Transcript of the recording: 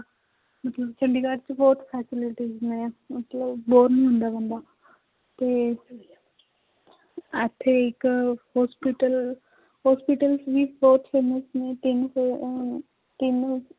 ਮਤਲਬ ਚੰਡੀਗੜ੍ਹ 'ਚ ਬਹੁਤ facilities ਨੇ ਮਤਲਬ bore ਨੀ ਹੁੰਦਾ ਬੰਦਾ ਤੇ ਇੱਥੇ ਇੱਕ hospital hospitals ਵੀ ਬਹੁਤ famous ਨੇ ਅਹ ਤਿੰਨ